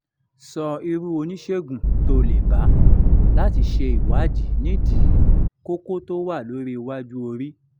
so irú oníṣègùn to le ba lati se iwadi nídìí koko to wa lori iwájú orí